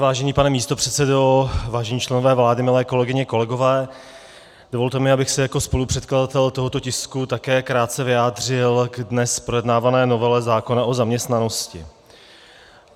Vážený pane místopředsedo, vážení členové vlády, milí kolegyně, kolegové, dovolte mi, abych se jako spolupředkladatel tohoto tisku také krátce vyjádřil k dnes projednávané novele zákona o zaměstnanosti.